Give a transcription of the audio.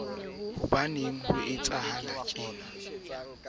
setorouku ho ye ho hlokahale